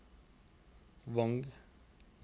Vang